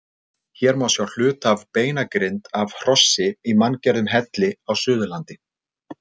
Hér má sjá hluta af beinagrind af hrossi í manngerðum helli á Suðurlandi.